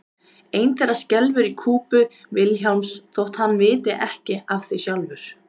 Ein þeirra skelfur í kúpu Vilhjálms þótt hann viti ekki af því sjálfur.